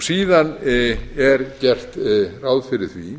síðan er gert ráð fyrir því